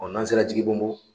O n'an sera Jigibonbon